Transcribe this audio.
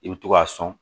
I bi to k'a sɔn